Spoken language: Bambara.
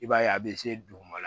I b'a ye a bɛ se duguma